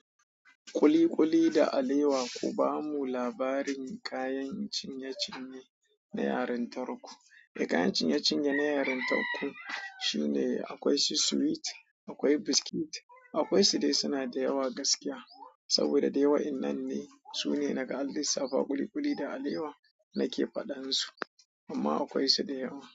Kuli-kuli da alewa. Ku ba mu labarin kayan cinye-cinye na yarintarku. Ai kayan cinye cinye na yarintarku, akwai sweet, akwai biscuits, akwaisu dai suna da yawa gaskiya saboda dai wa'innan ne su ne naga an lissafa kuli-kuli da alewa nake faɗan su, amma akwai su da yawa.